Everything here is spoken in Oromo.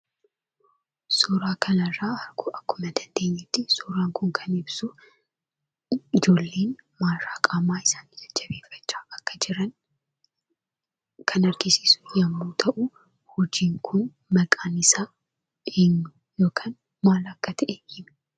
Suuraa kanarraa, akkuma dandeenyetti, suuraan kun, kan ibsu ijoolleen qaama isaanii jajjabeeffachaa akka jiran kan argisiisu yemmu ta'u, hojiin kun, maqaan isaa eenyuu? yookiin kan maal akka ta'e hima?